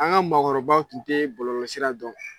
An ka mɔgɔkɔrɔbaw tun tɛ bɔlɔlɔsira dɔn.